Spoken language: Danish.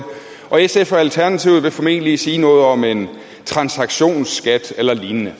og sf og alternativet vil formentlig sige noget om en transaktionsskat eller lignende